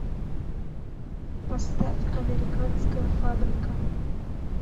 поставь американская фабрика